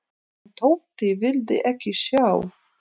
En Tóti vildi ekki sjá.